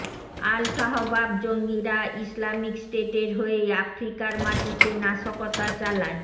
আল Shabaab জঙ্গিরা Islamic স্টেটের হয়েই আফ্রিকার মাটিতে নাশকতা চালায়